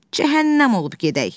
Cəhənnəm olub gedək!